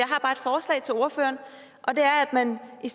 ordføreren og det er at man i